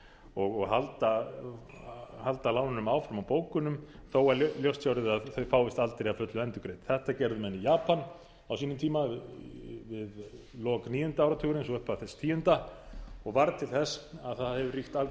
og halda lánunum áfram á bókunum þó að ljóst sé orðið að þau fáist aldrei að fullu endurgreidd þetta gerðu menn í japan á sínum tíma við lok níunda áratugarins og í upphafi þess tíunda og varð til þess að það hefur ríkt algjör